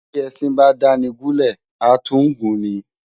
Bi Esin ba dáni gúlè ã tun gun ni